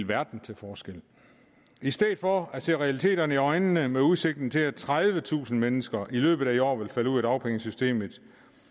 verden til forskel i stedet for at se realiteterne i øjnene med udsigten til at tredivetusind mennesker i løbet af i år vil falde ud af dagpengesystemet